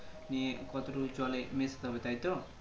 নিয়ে কত টুকু জলে মিশাতে হবে তাই তো